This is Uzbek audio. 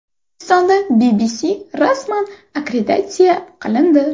O‘zbekistonda BBC rasman akkreditatsiya qilindi.